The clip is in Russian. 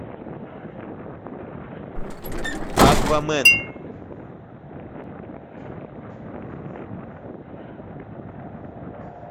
аквамен